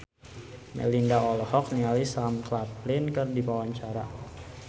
Melinda olohok ningali Sam Claflin keur diwawancara